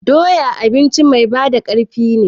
Doya abinci mai ba da ƙarfin ne